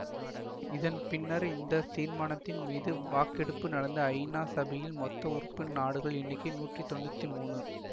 இதன் பின்னர் இந்த தீர்மானத்தின் மீது வாக்கெடுப்பு நடந்த ஐநா சபையின் மொத்த உறுப்பு நாடுகளின் எண்ணிக்கை நூற்றி தொன்னூத்தி மூனு